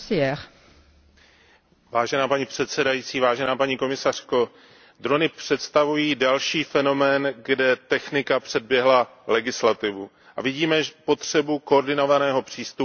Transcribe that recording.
Paní předsedající, paní komisařko, drony představují další fenomén, kde technika předběhla legislativu, a vidíme potřebu koordinovaného přístupu na evropské úrovni.